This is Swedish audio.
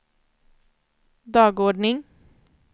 dagordning